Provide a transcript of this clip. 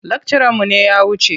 Lakcaranmu ne ya wuce.